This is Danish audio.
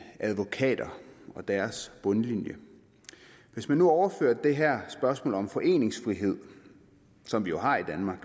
advokater og deres bundlinje hvis man nu overfører det her spørgsmål om foreningsfrihed som vi jo har i danmark